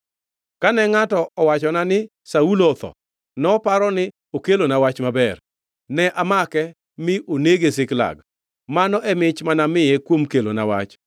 kane ngʼato owachona ni, ‘Saulo otho,’ noparo ni okelona wach maber. Ne amake mine onege Ziklag. Mano e mich manamiye kuom kelona wach.